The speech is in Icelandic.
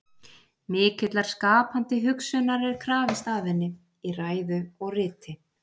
Mikillar skapandi hugsunar er krafist af henni, í ræðu og riti.